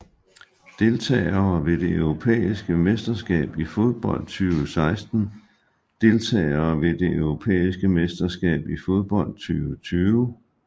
Deltagere ved det europæiske mesterskab i fodbold 2016 Deltagere ved det europæiske mesterskab i fodbold 2020